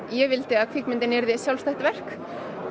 ég vildi að kvikmyndin yrði sjálfstætt verk